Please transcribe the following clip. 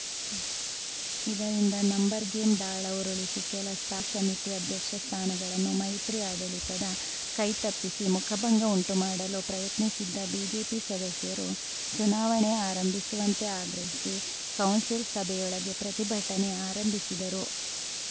ಇದರಿಂದ ನಂಬರ್‌ಗೇಮ್‌ ದಾಳ ಉರುಳಿಸಿ ಕೆಲ ಸ್ಥಾಯಿ ಸಮಿತಿ ಅಧ್ಯಕ್ಷ ಸ್ಥಾನಗಳನ್ನು ಮೈತ್ರಿ ಆಡಳಿತದ ಕೈತಪ್ಪಿಸಿ ಮುಖಭಂಗ ಉಂಟುಮಾಡಲು ಪ್ರಯತ್ನಿಸಿದ್ದ ಬಿಜೆಪಿ ಸದಸ್ಯರು ಚುನಾವಣೆ ಆರಂಭಿಸುವಂತೆ ಆಗ್ರಹಿಸಿ ಕೌನ್ಸಿಲ್‌ ಸಭೆಯೊಳಗೆ ಪ್ರತಿಭಟನೆ ಆರಂಭಿಸಿದರು